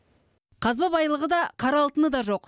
қазба байлығы да қара алтыны да жоқ